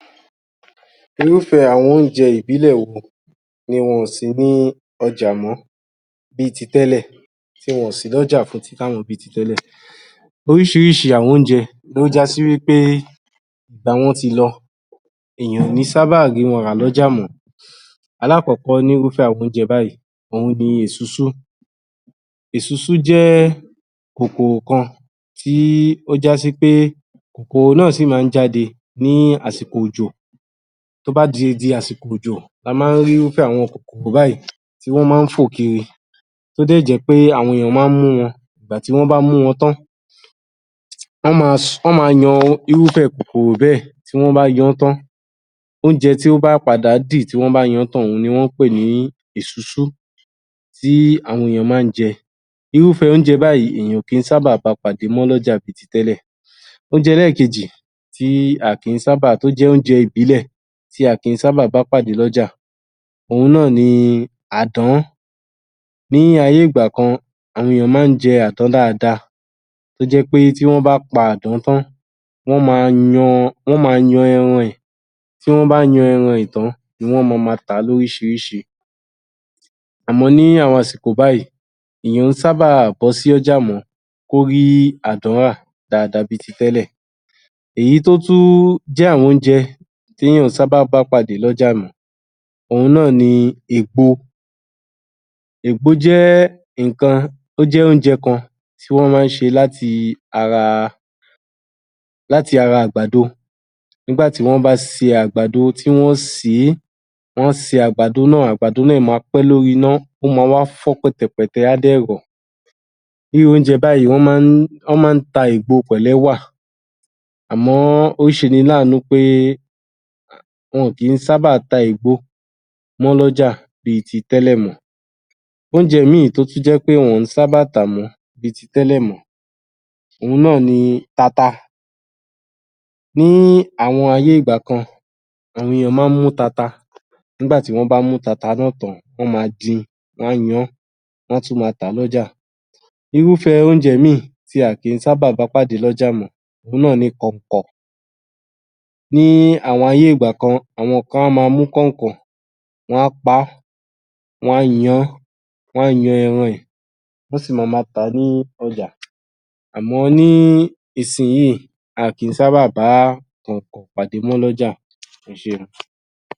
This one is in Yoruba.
Irúfẹ́ àwọn oúnjẹ ìbílẹ̀ wo ni wọn ò sí ní ọjà mọ́ bí ti tẹ́lẹ̀, tí wọn ò sí lọ́jà mọ̀ ọ́ fún títà mọ́ bí ti tẹ́lẹ̀. Orísírísí àwọn oúnjẹ ló já sí ẃt́ pé ìgbà wọn ti lọ, èèyàn ò ní sàbá rí wọn rà lọ́jà mọ̀ ọ́. Alákọ́kọ́ ní rúfẹ́ àwọn oúnjẹ báyìí ni Èsúsú. Èsúsú jẹ́ ẹ́ kòkòrò kan tí ó já sí pé kòkòrò náà sí ń má jáde ní àsìkò òjò, tó bá ti di àsìkò òjò ni a má rí irúfẹ́ àwọn kòkòrò báyìí tí wọ́n má fò kiri tó dẹ̀ jẹ́ pé àwọn ènìyàn má ń mú wọn, ìgbàtí wọ́n bá mú wọn tán- án, wọ́n ma yan-án irúfẹ́ kòkòrò bẹ́ẹ̀, tí wọ́n bá yan-án tán, oúnjẹ tó má padà dì tí wọ́ bá yan-án tán ni Èsúsú tí àwọn ènìyàn má ń jẹ, irúfẹ oúnjẹ báyìí ènìyàn ò kí sábà bá pàdé mọ́ lọ́jà bi ti tẹ́lẹ̀. Oúnjẹ ẹlẹ́kejì tí ó jẹ́ oúnjẹ ìbílẹ̀ tí a kì ń sábà bá pàdé lọ́jà òun ni ÀDÁN, àwọn ènìyàn má jẹ àdàn dáadaáa tó jẹ́ pé tí wọ́n bá pa àdán tán, wọ́n ma yan ẹran rẹ̀, tí wọ́n bá yan ẹran rẹ̀ tán ni wọ́n ma ma tà á lórísírísí àmọ́ ní àwọn àsìkò báyìí èyàn ò kí sábà bọ́ sọ́jà mọ́ kó rí àdán rà dáadáa bi ti tẹ́lẹ̀ mọ́, èyí tó tún jẹ́ àwọn oúnjẹ tí ènìyàn ò kí ń sábà bá pàdé lọ́jà mọ́ òun náà ni Ègbo. Ègbo jẹ́ oúnjẹ kan tí wọ́n má ṣe látira àgbàdo, nígbàtí wọ́n bá ṣe àgbàdo, tí wọ́n ṣè é,wọ́n ṣe àgbàdo náà, àgbàdo náà ma pẹ́ lórí iná ó ma wá fọ́ pẹ́tẹpẹ̀tẹ á dẹ̀ rọ̀, irú oúnjẹ báyìí wọ́n má ta ègbo pẹ̀lú ẹ̀wà àmọ́ ọ́ ó sẹni láàánú pé é wọn kì í sábà ta ègbo mọ́ lọ́jà bí i ti tẹ́lẹ̀ mọ́. Oúnjẹ mí ì tótún jẹ́ pé wọn kò sábà tà mọ́ bi ti tẹ́lẹ̀ mọ́ ni Tata. Ní àwọn ayé ìgbà kan, àwọn ènìyàn má mú tata, nígbà wọ́n mú tata náà tán, wọ́n ma di, wọ́n ń yán wá tún ma tà á lọ́jà. Irúfẹ oúnjẹ mí ì tí a kì í sábà bá lọ́jà mọ́ òun náà ni kọ̀ǹkọ̀, ní àwọn ayé ìgbà kan àwọn kan á ma mú kọ̀ǹkọ̀, wọn á pa á, wọ́n á yan-án, wọ́n yan ẹran rẹ̀, wọ́n á sì ma lo tà á ní ọjà, àmọ́ níìsìnyí a kì í sábà bá kọ̀ǹkọ̀ pàdé mọ́ lọ́jà. ẹsẹ́.